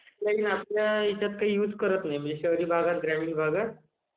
is not clear म्हणजे शहरी भागात ग्रामीण भागात..